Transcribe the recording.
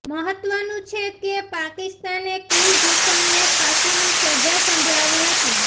મહત્વનું છે કે પાકિસ્તાને કુલભૂષણને ફાંસીની સજા સંભળાવી હતી